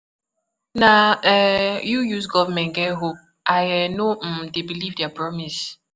Na um you use government get hope, I um no um dey believe their promise.